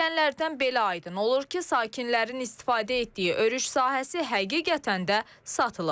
Deyilənlərdən belə aydın olur ki, sakinlərin istifadə etdiyi örüş sahəsi həqiqətən də satılıb.